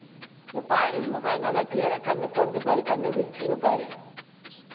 இங்க பாரு, இங்க பாரு, நல்லா clear ஆ கண்ணை திறந்து பாரு, கண்ணை விரிச்சின்னு பாரு.